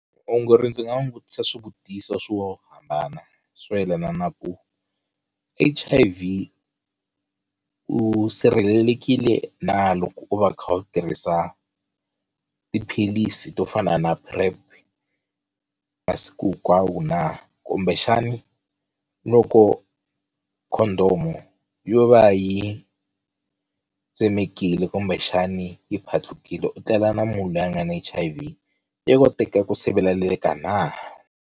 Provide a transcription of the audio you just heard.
Muongori ndzi nga n'wi vutisa swivutiso swo hambana swo yelana na ku H_I_V u sirhelelekile na, loko u va u kha u tirhisa u tiphilisi to fana na PrEP masiku hinkwawo na, kumbexani loko condom yo va yi tsemekile kumbexani yi patlukile u tlela na munhu loyi a nga ni H_I_V ya koteka ku siveleleka na.